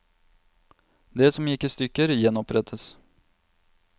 Det som gikk i stykker, gjenopprettes.